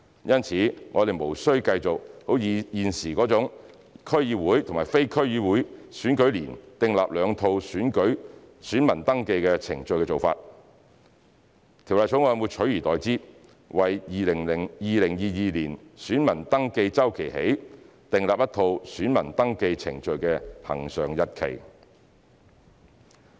因此，我們無需繼續現時為區議會及非區議會選舉年訂立兩套選民登記程序的做法，取而代之的是《條例草案》會自2022年選民登記周期起，訂立一套選民登記程序的恆常日期。